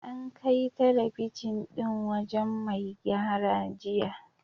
An kai talabijin ɗin wajen mai gyara jiya.